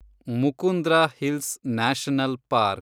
Mukundra hills national park